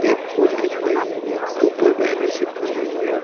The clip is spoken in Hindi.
एक पुल दिख रही है ऊपर बैनर चिपकाने वाला --